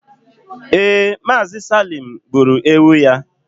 ee, Mazi salime gburu ewu ya